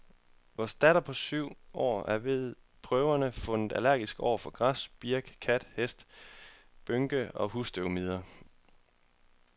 Vor datter på syv år er ved prøver fundet allergisk over for græs, birk, kat, hest, bynke og husstøvmider.